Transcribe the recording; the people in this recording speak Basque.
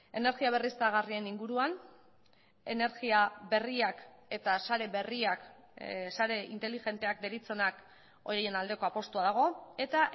energia berriztagarrien inguruan energia berriak eta sare berriak sare inteligenteak deritzonak horien aldeko apustua dago eta